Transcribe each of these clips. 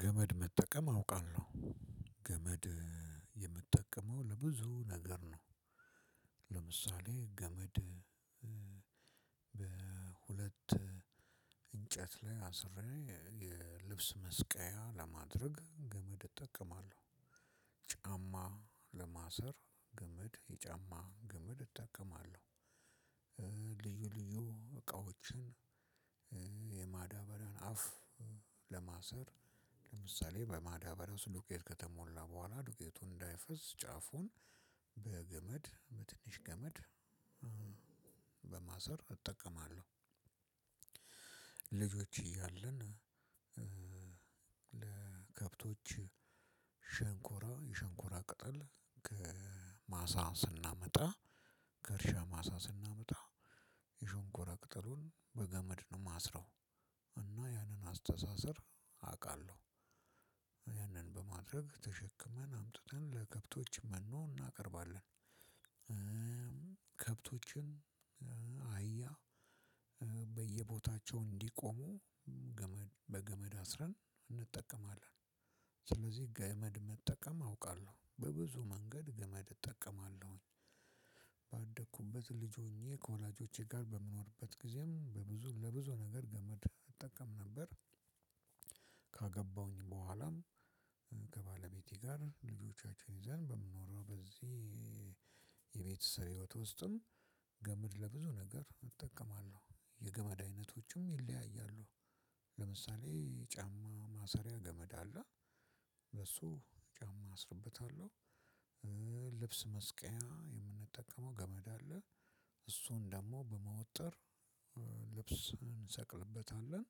ገመድ መጠቀም አውቃለሁ። ገመድ የምጠቀመው ለብዙ ነገር ነው። ለምሳሌ ገመድ በሁለት እንጨት ላይ አስሬ የልብስ መስቀያ ለማድረግ ገመድ እጠቀማለሁ። ጫማ ለማሰር ገመድ የጫማ ገመድ እጠቀማለሁ። ልዩ እቃዎችን የማዳበሪያን አፍ ለማሰር ለምሳሌ በማዳበሪያ ውስጥ ዱቄት ከተሞላ በኋላ ዱቄቱን እንዳይፈስ ጫፉን በገመድ በትንሽ ገመድ በማሰር እጠቀማለሁ። እያለን ለከብቶች ሸንኮራ የሽንኩራ ቅጠል ከማሳ ስናመጣ ከእርሻ ማሳ ስናመጣ የሸንኮራ ቅጠሉን በገመድ ነው የማስረው እና ያንን አስተሳሰር አውቃለሁ። ያንን በማድረግ ተሸክመን አምጥተን ለከብቶች መኖ እናቀርባለን። ከብቶችን አህያ በየቦታቸው እንዲቆሙ ገመድ በገመድ አስረን እንጠቀማለን። ስለዚህ ገመድ መጠቀም አውቃለሁ፤ በብዙ መንገድ ገመድ እጠቀማለሁኝ። ባደኩበት ልጅ ሆኜ ከወላጆቼ ጋር በምኖርበት ጊዜም በብዙ ለብዙ ነገር ገመድ እጠቀም ነበር። ካገባሁኝ በኋላም ከባለቤቴ ጋር ልጆቻችን ይዘን በምኖረው በዚህ የቤተሰብ ህይወትም ገመድ ለብዙ ነገር እጠቀማለ። ሁ የገመድ አይነቶችም ይለያያሉ። ለምሳሌ ጫማ ማሰሪያ ገመድ አለ። በሱ ጫማ አስርበታለሁ። ልብስ መስቀያ የምንጠቀመው ገመድ አለ። እሱን ደግሞ በመወጠር ልብስ እንሰቅልበታለን።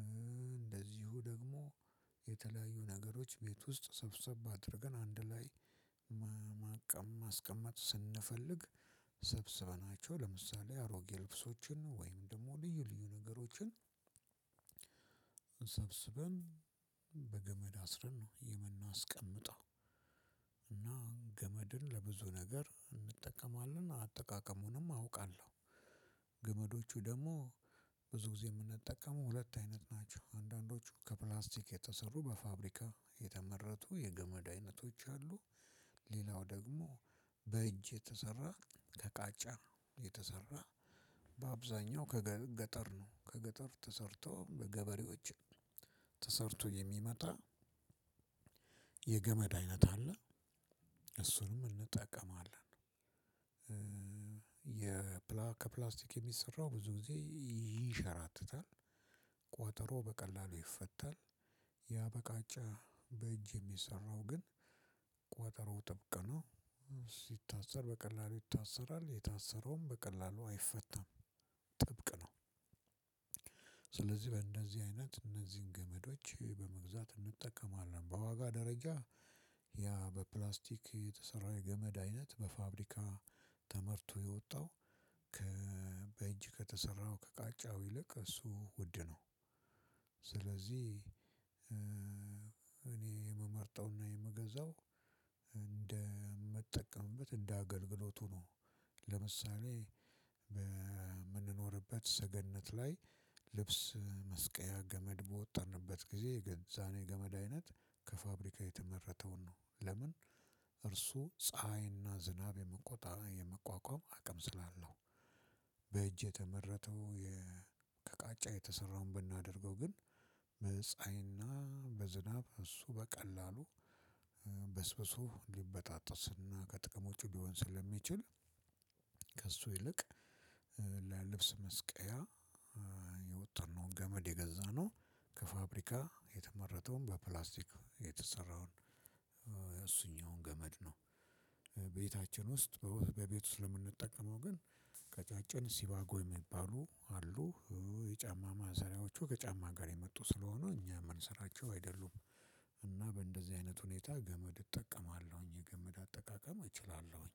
እንደዚሁ ደግሞ የተለያዩ ነገሮች ቤት ውስጥ ሰብሰብ አድርገን አንድ ላይ ማስቀመጥ ስንፈልግ ሰብስበናቸው ለምሳሌ አሮጌ ልብሶችን ወይም ደግሞ ልዩ ልዩ ነገሮችን ሰብስበን በገመድ አስረን ነው የምናስቀምጠው። እና ገመድን ለብዙ ነገር እንጠቀማለን። አጠቃቀሙንም አውቃለሁ። ገመዶቹ ደግሞ ብዙ ጊዜ የምንጠቀመው ሁለት አይነት ናቸው። አንዳንዶቹ ከፕላስቲክ የተሰሩ በፋብሪካ የተመረቱ የገመድ አይነቶች አሉ። ሌላው ደግሞ በእጅ የተሰራ ከቃጫ የተሰራ በአብዛኛው ከገጠር ነው ከገጠር ተሰርቶ በገበሬዎች ተሰርቶ የሚመጣ የገመድ አይነት አለ። እሱንም እንጠቀማለን። ከፕላስቲክ የሚሰራው ብዙ ጊዜ ይንሸራተታል። ቋጠሮ በቀላሉ ይፈታል። ያበቃጫ በእጅ የሚሰራው ግን ቋጠሮው ጥብቅ ነው። ሲታሰር በቀላሉ ይታሰራል፤ የታሰረውም በቀላሉ አይፈታም ጥብቅ ነው። በእነዚህ አይነት እነዚህን ገመዶች በመግዛት እንጠቀማለን። በዋጋ ደረጃ በፕላስቲክ የተሰራ የገመድ አይነት በፋብሪካ ተመርቶ የወጣው በእጅ ከተሰራው ከቃጫው ይልቅ እሱ ውድ ነው። ስለዚህ እኔ የምመርጠውና የምገዛው እንደምጠቀምበት እንደ አገልግሎቱ ነው። ለምሳሌ በምንኖርበት ሰገነት ላይ ልብስ መስቀያ ገመድ በወጠርንበት ጊዜ የገዛነው የገመድ አይነት ከፋብሪካ የተመረተውን ነው። ለምን? እርሱ ፀሀይና ዝናብ የመቋቋም አቅም ስላለው። በእጅ የተመረተው ከቃጫ የተሰራውን ብናደርገው ግን በጻሀይና በዝናብ እሱ በቀላሉ በስብሶ ሊበጣጥስና ከጥቅም ውጪ ሊሆን ስለሚችል ከእሱ ይልቅ ለልብስ መስቀያ የወጠርነውን ገመድ የገዛነው ከፋብሪካ የተመረተውን በፕላስቲክ የተሰራውን ገመድ ነው። ቤታችን ውስጥ በቤት ውስጥ ለምንጠቀመው ግን ቀጫጭን ሲባጎ የሚባሉ አሉ፤ የጫማ ማሰሪያዎቹ ከጫማ ጋር የመጡ ስለሆኑ እኛ የምንሰራቸው አይደሉም። እና በእንደዚህ አይነት ሁኔታ ገመድ እጠቀማለሁኝ። የገመድ አጠቃቀም እችላለሁኝ።